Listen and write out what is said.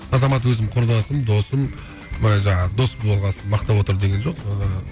азамат өзім құрдасым досым былай жаңағы дос болған соң мақтап отыр деген жоқ ыыы